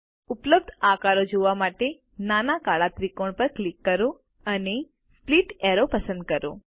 ઉપલબ્ધ આકારો જોવા માટે નાના કાળા ત્રિકોણ પર ક્લિક કરો અને સ્પ્લિટ એરો પસંદ કરો